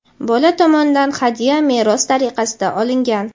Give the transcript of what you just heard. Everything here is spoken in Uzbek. bola tomonidan hadya, meros tariqasida olingan;.